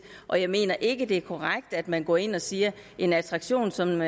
og jeg mener ikke det er korrekt at man går ind og siger at en attraktion som